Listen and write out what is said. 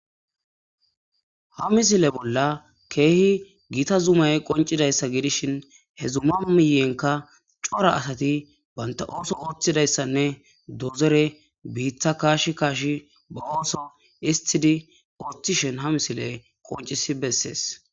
ha misile bolla keehi giita zumay qoncidayssa giidishin he zuma miyenka cora asati baynta ooso ooththidayssanne dozere biiththa kaash kaashi ba ooso istidi ooththishen ha misiley qoncisi bessees